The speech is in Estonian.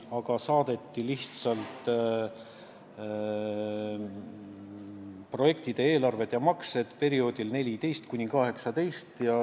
Meile saadeti lihtsalt projektide eelarved ja maksed perioodil 2014–2018.